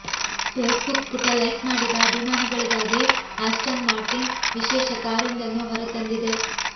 Facebook ಪುಟ like ಮಾಡಿದ ಅಭಿಮಾನಿಗಳಿಗಾಗಿ ಆಸ್ಟನ್ ಮಾರ್ಟಿನ್ ವಿಶೇಷ ಕಾರೊಂದನ್ನು ಹೊರತಂದಿದೆ